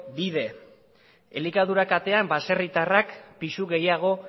bide elikadura katean baserritarrek pisu gehiago